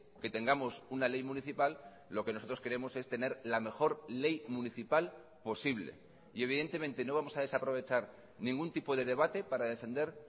que tengamos una ley municipal lo que nosotros queremos es tener la mejor ley municipal posible y evidentemente no vamos a desaprovechar ningún tipo de debate para defender